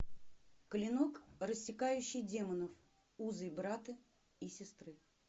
клинок рассекающий демонов узы брата и сестры